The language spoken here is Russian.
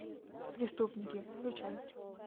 преступники включай